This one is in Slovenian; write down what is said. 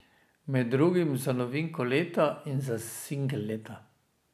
Med drugim za novinko leta in za singel leta.